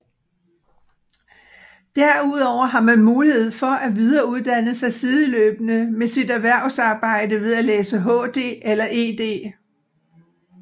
Derudover har man mulighed for at videreuddanne sig sideløbende med sit erhvervsarbejde ved at læse HD eller ED